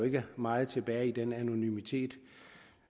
ikke meget tilbage i den anonymitet